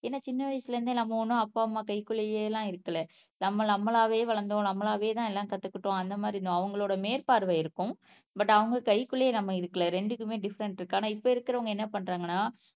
ஏன்னா சின்ன வயசுல இருந்தே நம்ம ஒண்ணும் அப்பா அம்மா கைக்குள்ளேயே எல்லாம் இருக்கல நம்ம நம்மளாவே வளர்ந்தோம் நம்மளாவேதான் எல்லாம் கத்துக்கிட்டோம் அந்த மாதிரி அவங்களோட மேற்பார்வை இருக்கும் பட் அவங்க கைக்குள்ளேயே நம்ம இருக்கலை ரெண்டுக்குமே டிஃபரென்ட் இருக்கு. ஆனா இப்போ இருக்கிறவங்க என்ன பண்றாங்கன்னா